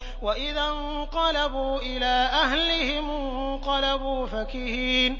وَإِذَا انقَلَبُوا إِلَىٰ أَهْلِهِمُ انقَلَبُوا فَكِهِينَ